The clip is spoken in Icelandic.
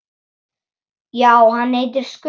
Já, hann heitir Skundi.